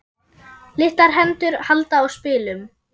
Litlar hendur halda á spilum.